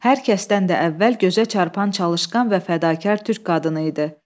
Hər kəsdən də əvvəl gözə çarpan çalışqan və fədakar Türk qadını idi.